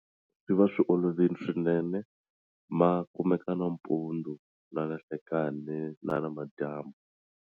Swi va swi olovile swinene ma kumeka nampundzu na nanhlekani na namadyambu.